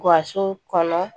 Gasi kɔnɔ